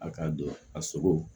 A ka don a sogo